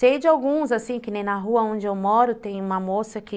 Sei de alguns, assim, que nem na rua onde eu moro tem uma moça que